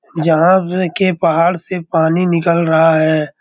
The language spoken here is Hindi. जहाँ आप देखिये पहाड़ से पानी निकल रहा है।